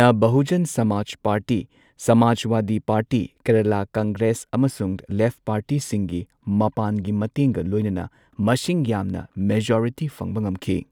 ꯅ Bahujan Samaj party, Samajwadi party, Kerala Congress, ꯑꯃꯁꯨꯡ left ꯄꯥꯔꯇꯤꯁꯤꯡꯒꯤ ꯃꯄꯥꯟꯒꯤ ꯃꯇꯦꯡꯒ ꯂꯣꯏꯅꯅ ꯃꯁꯤꯡ ꯌꯥꯝꯅ ꯃꯦꯖꯣꯔꯤꯇꯤ ꯐꯪꯕ ꯉꯝꯈꯤ꯫